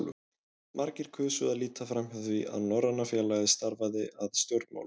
Margir kusu að líta framhjá því, að Norræna félagið starfaði að stjórnmálum.